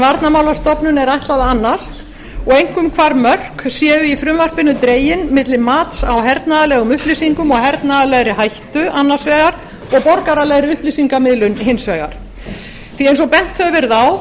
er ætlað að annast og einkum hvar mörk séu í frumvarpinu dregin milli mats á hernaðarlegum upplýsingum og hernaðarlegri hættu annars vegar og borgaralegri upplýsingamiðlun hins vegar eins og bent hefur verið á